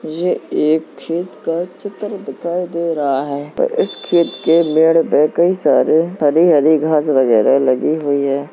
ये एक खेत का चित्र दिखाई दे रहा है पर इस खेत के मेढ़ पे कई सारे हरी-हरी घास वगैरह लगी हुई है।